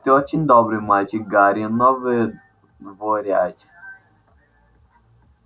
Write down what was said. ты очень добрый мальчик гарри но выдворять гномов скучная работа